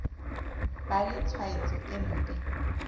ba le tshwaetso e mpe